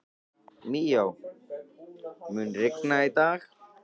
Míó, mun rigna í dag?